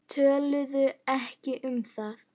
Töluðu ekki um það.